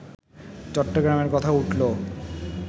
চট্টগ্রামের কথা উঠল